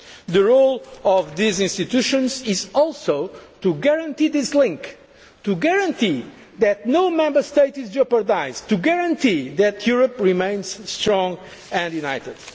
and integration. The role of these institutions is also to guarantee this link, to guarantee that no Member State is jeopardised, to guarantee that Europe remains strong